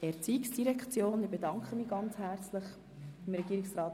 Reduktion Förderbeiträge (Massnahme 49.8.1):